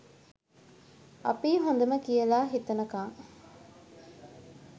අපියි හොඳම කියල හිතනකං